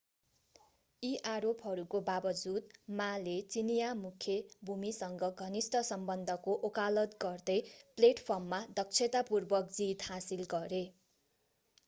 यी आरोपहरूको बावजुद ma ले चिनियाँ मुख्य भूमिसँग घनिष्ट सम्बन्धको वकालत गर्दै प्लेटफर्ममा दक्षतापूर्वक जित हासिल गरे